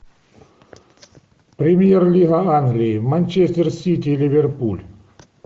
премьер лига англии манчестер сити ливерпуль